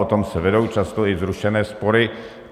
O tom se vedou často i vzrušené spory.